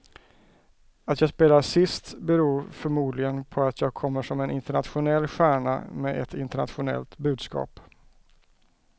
Att jag spelar sist beror förmodligen på att jag kommer som en internationell stjärna med ett internationellt budskap.